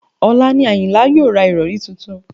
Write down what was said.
Ọ̀la ni àyìnlá yóò ra ìrọ̀rí tuntun